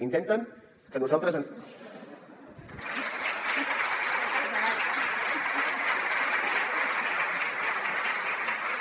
intenten que nosaltres ens